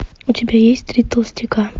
у тебя есть три толстяка